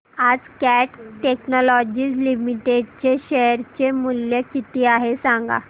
आज Cat Technologies Limited चे share चे मूल्य किती आहे सांगा